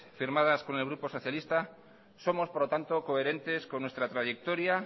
firmadas con el grupo socialista somos por lo tanto coherentes con nuestra trayectoria